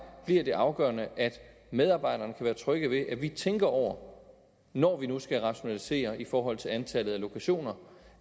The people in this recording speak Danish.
bliver det afgørende at medarbejderne kan være trygge ved at vi tænker over når vi nu skal rationalisere i forhold til antallet af lokationer